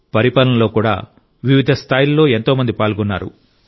పరిపాలనలో కూడా వివిధ స్థాయిలలో ఎంతో మంది పాల్గొన్నారు